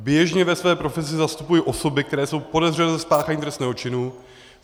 Běžně ve své profesi zastupuji osoby, které jsou podezřelé ze spáchání trestného činu.